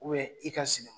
i ka sunɔgɔ